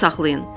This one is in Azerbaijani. Yadda saxlayın.